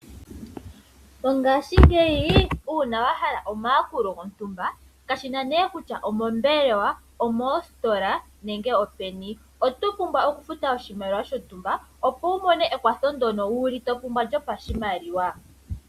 Mongashingeyi uuna wahala omakulo gontumba kashina ne kutya omombelewa, omoositola nenge openi oto pumbwa okufuta oshimaliwa shontumba opo wu mone ekwatho ndono wuli to pumbwa lyo pashimaliwa.